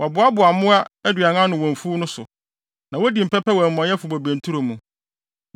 Wɔboaboa mmoa aduan ano wɔ mfuw no so na wodi mpɛpɛ wɔ amumɔyɛfo bobe nturo mu.